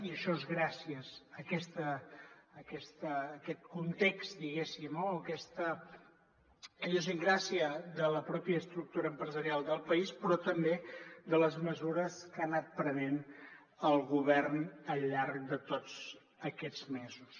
i això és gràcies a aquest context diguéssim o a aquesta idiosincràsia de la pròpia estructura empresarial del país però també de les mesures que ha anat prenent el govern al llarg de tots aquests mesos